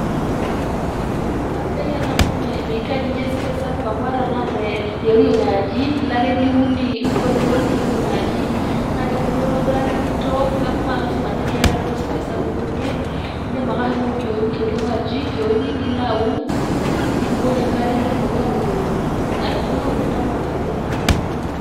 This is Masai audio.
Eeh kasidai ena amu miitaji ninye space sapuk amu ata tenaa tioriong' aji, ilo ake niun mpuka inonok tioriong' aji, naa kebulu aitobiraki, nintook, neeku meelasima ninye piyata duo space sapuk niunie. Indim ake ashomo oriong' aji, kioni nilo aun nibukoki enkare netumoki atubulu nintayu ake ayierr anaa mpuka.